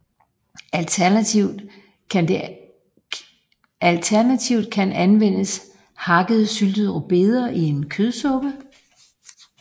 Alternativt kan anvendes hakkede syltede rødbeder i en kødsuppe